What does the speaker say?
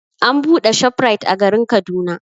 An buɗe ShopRite a garin Kaduna.